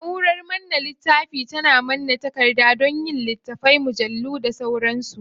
Na'urar manne littafi tana manne takarda don yin littattafai, mujallu da sauransu.